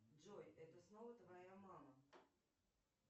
джой это снова твоя мама